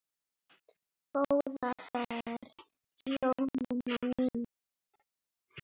Góða ferð Jónína mín.